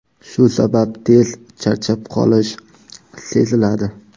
Shu sabab tez charchab qolish seziladi.